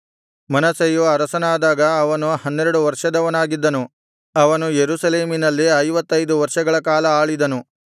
ಮನಸ್ಸೆಯು ಅರಸನಾದಾಗ ಅವನು ಹನ್ನೆರಡು ವರ್ಷದವನಾಗಿದ್ದನು ಅವನು ಯೆರೂಸಲೇಮಿನಲ್ಲಿ ಐವತ್ತೈದು ವರ್ಷಗಳ ಕಾಲ ಆಳಿದನು